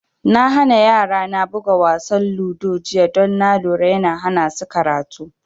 Na hana yara na buga wasa ludo jiya don na lura yana hana su karatu